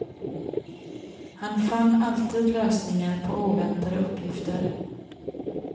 Han fann alltid lösningar på oväntade uppgifter.